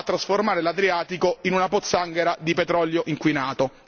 no a trasformare l'Adriatico in una pozzanghera di petrolio inquinato.